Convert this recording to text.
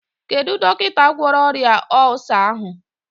Kedụ dọkịta gwọrọ ọrịa ọlsa ahụ?